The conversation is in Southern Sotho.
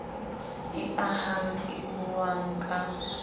e ahang e buang ka